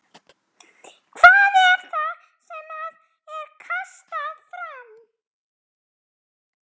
Hvað er það sem að er kastað fram?